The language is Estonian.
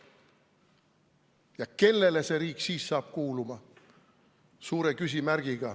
Ja kellele see riik siis kuuluma hakkab?